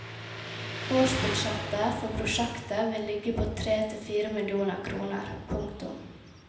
Årsbudsjettet for prosjektet vil ligge på tre til fire millioner kroner. punktum